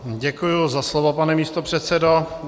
Děkuji za slovo, pane místopředsedo.